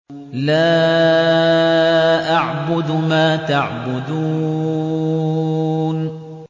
لَا أَعْبُدُ مَا تَعْبُدُونَ